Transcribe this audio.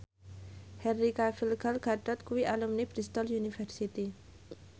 Henry Cavill Gal Gadot kuwi alumni Bristol university